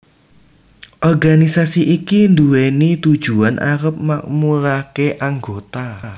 Organisasi iki nduweni tujuan arep makmurake anggota